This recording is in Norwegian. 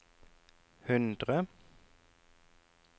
hundre